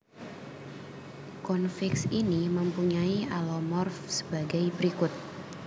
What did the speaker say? Konfiks ini mempunyai alomorf sebagai berikut